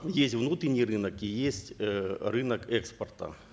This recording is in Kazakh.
есть внутренний рынок и есть эээ рынок экспорта